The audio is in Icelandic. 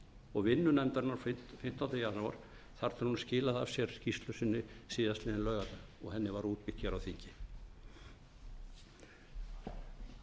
og vinnu nefndarinnar frá fimmtándu janúar þar til hún skilaði af sér skýrslu sinni síðastliðinn laugardag og henni var útbýtt hér